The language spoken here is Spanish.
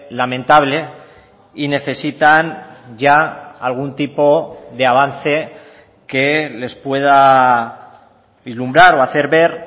lamentable y necesitan ya algún tipo de avance que les pueda vislumbrar o hacer ver